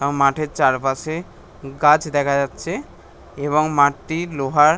মাঠের চারপাশে গাছ দেখা যাচ্ছে এবং মাটি লোহার--